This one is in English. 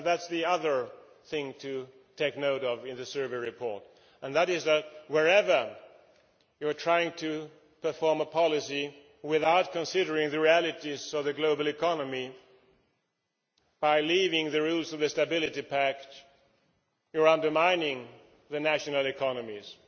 And that is the other thing to take note of in the survey report that wherever you are trying to perform a policy without considering the realities of the global economy, by leaving the rules of the Stability Pact you are undermining the national economies.